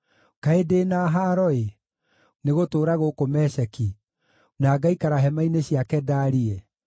Kaĩ ndĩ na haaro-ĩ, nĩgũtũũra gũkũ Mesheki, na ngaikara hema-inĩ cia Kedari-ĩ!